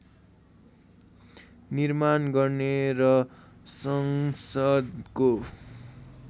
निर्माण गर्ने र संसदको